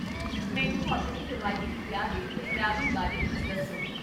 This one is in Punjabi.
ਮੈਨੂੰ ਆਪਣੇ ਰਵਾਇਤੀ ਵਿਆਹ ਦੇ ਪਹਿਰਾਵੇ ਬਾਰੇ ਕੁੱਝ ਦੱਸੋ